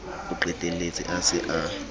o qetelletse a se a